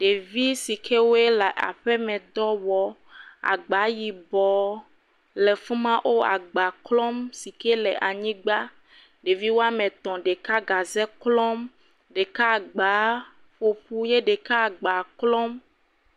Ɖevi si ke woe le aƒemedɔ wɔm, agba yibɔ le fi ma wole agba klɔm si ke le anyigba, ɖevi woame etɔ̃ ɖeka gaze klɔm ɖeaka agba ƒoƒu eye ɛɖeka agba klɔm.